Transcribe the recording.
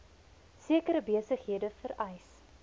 sekere besighede vereis